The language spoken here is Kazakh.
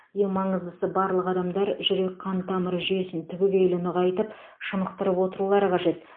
ең маңыздысы барлық адамдар жүрек қан тамыры жүйесін түбегейлі нығайтып шынықтырып отырулары қажет